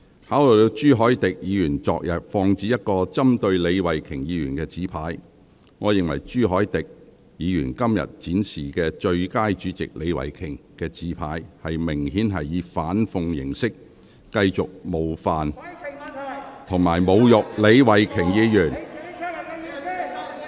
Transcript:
考慮到朱凱廸議員昨天曾放置一個針對李慧琼議員的紙牌，我認為朱凱廸議員今天展示寫有"最佳主席李慧琼"字句的紙牌，明顯是以反諷形式繼續冒犯及侮辱李慧琼議員。